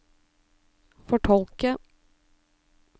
fortolke